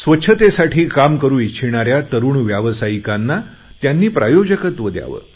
स्वच्छतेसाठी काम करू इच्छिणाऱ्या तरुण व्यावसायिकांना त्यांनी प्रायोजकत्व द्यावे